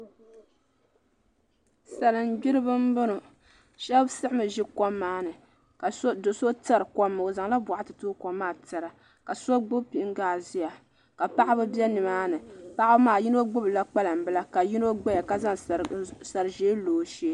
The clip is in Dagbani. Salima gbiriba n bɔŋɔ shɛba siɣi mi zi kom maa ni ka do so tɛri kom maa o zaŋ la bɔɣati tooi kom maa tɛra ka so gbubi pingaa ziya ka paɣaba bɛ ni maa ni paɣa maa yino gbubila kpalaŋ bila ka yino gbaya ka zaŋ sari zɛɛ lo o shɛɛ.